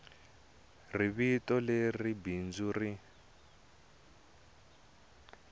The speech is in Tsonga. ri vito leri bindzu ri